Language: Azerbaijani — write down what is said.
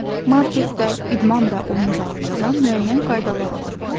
Marketdə, idman və oyun zalında da müəyyən qaydalar olur.